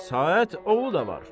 Saqət oğlu da var.